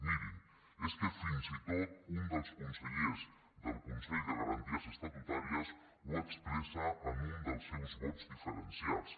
mirin és que fins i tot un dels consellers del consell de garanties estatutàries ho expressa en un dels seus vots diferenciats